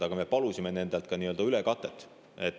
Aga me palusime nendelt ka nii-öelda ülekatet.